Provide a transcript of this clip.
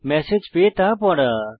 message পেয়ে তা পড়া